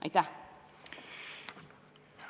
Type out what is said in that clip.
Aitäh!